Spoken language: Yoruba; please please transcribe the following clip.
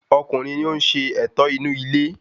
Ọkùnrin ni oún ṣe ẹ̀tọ́ inú ilé